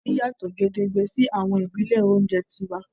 Wón yàtò gedegbe sí àwọn ìbílè oúnjẹ tiwa